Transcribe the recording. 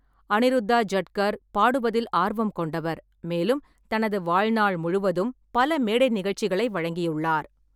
அனிருத்தா ஜட்கர் பாடுவதில் ஆர்வம் கொண்டவர், மேலும் தனது வாழ்நாள் முழுவதும் பல மேடை நிகழ்ச்சிகளை வழங்கியுள்ளார்.